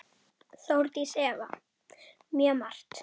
Þórdís Elva: Mjög margt.